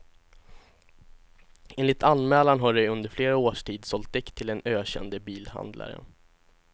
Enligt anmälan har de under flera års tid sålt däck till den ökände bilhandlaren.